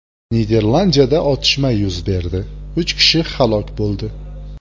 Niderlandiyada otishma yuz berdi, uch kishi halok bo‘ldi.